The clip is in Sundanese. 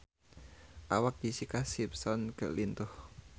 Awak Jessica Simpson lintuh